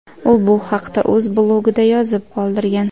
U bu haqda o‘z blogida yozib qoldirgan.